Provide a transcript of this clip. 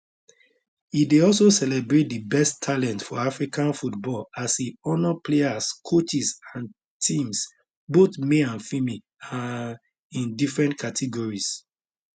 e dey also celebrate di best talent for african football as e honour players coaches and teams both male and female um in different categories